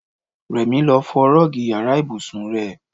Rẹ̀mí lọ fọ Rọ́ọ́gì ìyára ibùsùn rẹ.